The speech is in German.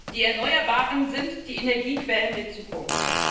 Die Erneuerbaren sind die Energiequellen der Zukunft.